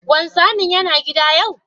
Wanzamin Yana a gida yau?